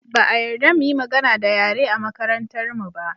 Ba a yarda mu yi magana da yare a makarantarmu ba